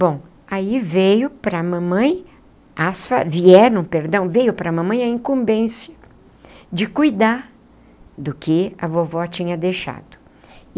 Bom, aí veio para a mamãe as vieram, perdão, veio para a mamãe a incumbência de cuidar do que a vovó tinha deixado.